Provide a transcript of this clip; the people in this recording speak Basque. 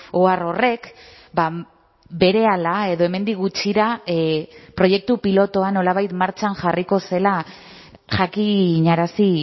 ohar horrek berehala edo hemendik gutxira proiektu pilotua nolabait martxan jarriko zela jakinarazi